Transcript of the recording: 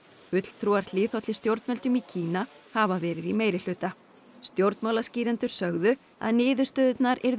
fulltrúar hliðhollir stjórnvöldum í Kína hafa verið í meirihluta stjórnmálaskýrendur sögðu að niðurstöðurnar yrðu